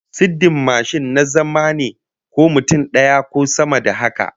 Sirdin mashin na zama ne, ko mutum daya ko sama da haka